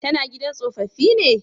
Ta na gidan tsofaffi ne?